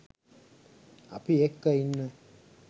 අපි එක්ක ඉන්න